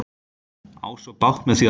á svo bágt með því að ná.